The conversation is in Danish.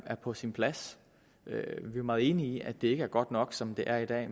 er på sin plads vi er meget enige i at det ikke er godt nok som det er i dag